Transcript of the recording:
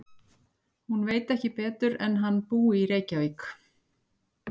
Hún veit ekki betur en hann búi í Reykjavík.